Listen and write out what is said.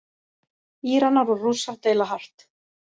Íranar og Rússar deila hart